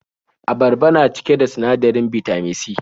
Abarba na cike da sinadarin Bitamin C.